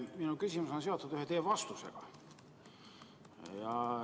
Minu küsimus on seotud ühe teie vastusega.